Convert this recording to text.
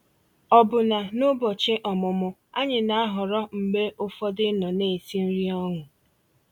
Ọ̀bụ́na n'ụ́bọ̀chị́ ọ̀mụ́mụ́, ànyị́ ná-àhọ̀rọ́ mgbe ụfọ̀dụ̀ ịnọ̀ ná-èsì nrí ọnụ́.